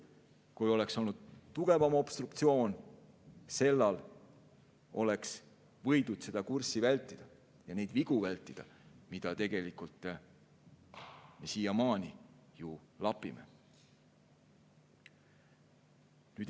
Kui sellal oleks olnud tugevam obstruktsioon, oleks võidud vältida seda kurssi ja neid vigu, mida me siiamaani ju lapime.